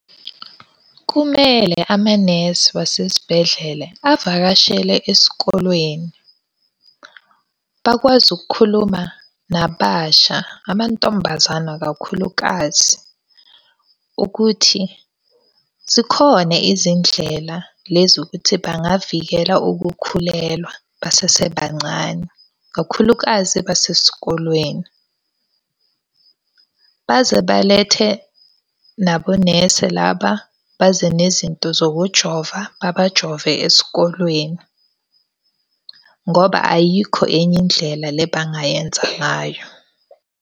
Kumele amanesi wasesibhedlela avakashele esikolweni, bakwazi ukukhuluma nababasha, amantombazana kakhulukazi. Ukuthi zikhona izindlela lezi ukuthi bangavikela ukukhulelwa basebancane, kakhulukazi basesikolweni. Baze balethe nabonese laba baze nezinto zokujova, babajove esikolweni. Ngoba ayikho enye indlela le bangayenza ngayo.